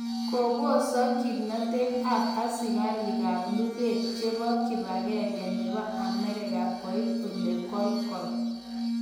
ko posak kimnatet ap asigariikap lugeet chepo kibagegenge nebo Ameriga koit olegolgol